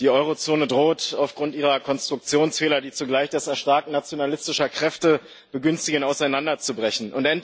Die Euro Zone droht aufgrund ihrer Konstruktionsfehler, die zugleich das Erstarken nationalistischer Kräfte begünstigen, auseinanderzubrechen.